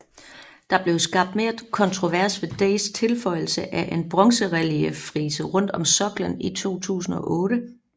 Der blev skabt mere kontrovers ved Days tilføjelse af et bronzerelieffrise rundt om soklen i 2008